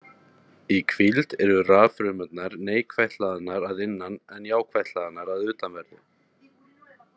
Í hvíld eru raffrumurnar neikvætt hlaðnar að innan en jákvætt hlaðnar að utanverðu.